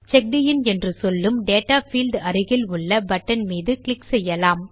செக்கடின் என்று சொல்லும் data field அருகில் உள்ள பட்டன் மீது சொடுக்குவோம்